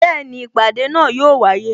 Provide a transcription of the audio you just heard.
Bẹẹni, ìpàdé náà yo wáyé